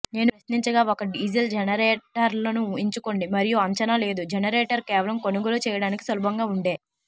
నేను ప్రశ్నించగా ఒక డీజిల్ జనరేటర్లను ఎంచుకోండి మరియు అంచనా లేదు జెనరేటర్ కేవలం కొనుగోలు చేయడానికి సులభంగా ఉండే